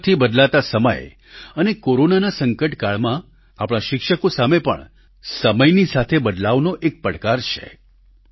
ઝડપથી બદલાતા સમય અને કોરોનાના સંકટકાળમાં આપણા શિક્ષકો સામે પણ સમયની સાથે બદલાવનો એક પડકાર છે